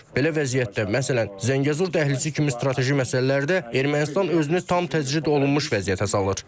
Belə vəziyyətdə məsələn Zəngəzur dəhlizi kimi strateji məsələlərdə Ermənistan özünü tam təcrid olunmuş vəziyyətə salır.